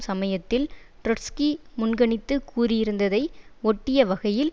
சமயத்தில் ட்ரொட்ஸ்கி முன்கணித்து கூறியிருந்ததை ஒட்டிய வகையில்